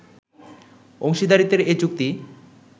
অংশীদারিত্বের এ চুক্তি